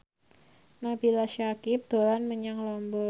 Nabila Syakieb dolan menyang Lombok